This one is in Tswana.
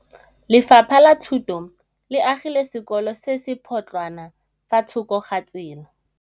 Lefapha la Thuto le agile sekôlô se se pôtlana fa thoko ga tsela.